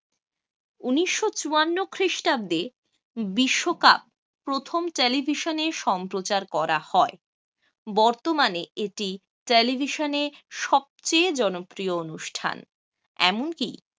ঊনিশও চুয়ান্ন খ্রিস্টাব্দে বিশ্বকাপ প্রথম television এ সম্প্রচার করা হয় বর্তমানে এটি television এ সবচেয়ে জনপ্রিয় অনুষ্ঠান। এমনকি